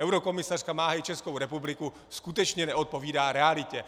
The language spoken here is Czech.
eurokomisařka má hájit Českou republiku, skutečně neodpovídá realitě.